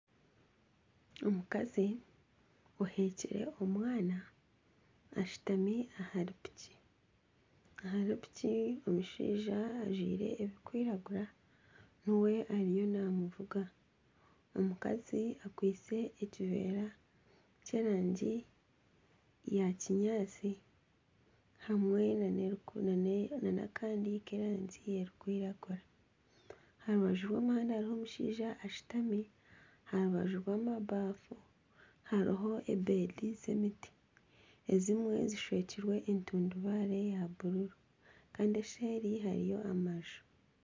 Omukazi ohekire omwana ashutami ahari piki, ahari piki omushaija ajwire ebirikwiragura niwe ariyo naamuvuga omukazi akwitse ekiveera ky'erangi ya kinyaatsi hamwe nana akandi k'erangi erikwiragura aha rubaju rw'omuhanda hariho omushaija ashutami aha rubaju rw'amabafu hariho ebedi z'emiti ezimwe zishwekirwe entundubare ya bururu kandi eseeri hariyo amaju